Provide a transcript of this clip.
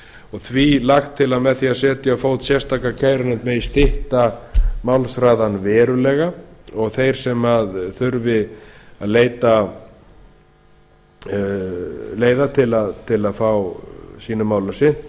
og því lagt til að með því að setja á fót sérstaka kærunefnd megi stytta málshraðann verulega og þeir sem þurfi að leita leiða til að fá sínum málum sinnt